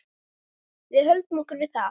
Við höldum okkur við það.